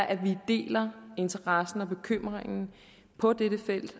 at vi deler interessen og bekymringen på dette felt